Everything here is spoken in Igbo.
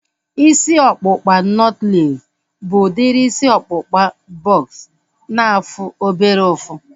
Isi ọkpụkpa nọtlees bụ udiri isi ọkpụkpa bọks na-afụ obere ụfụ